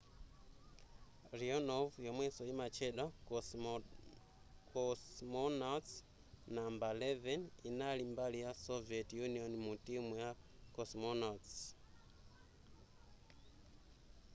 leonov yomwenso yimatchedwa cosmonauts no 11 yinali mbali ya soviet union mu timu ya cosmonauts